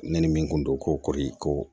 Ne ni min kun don ko kɔɔri ko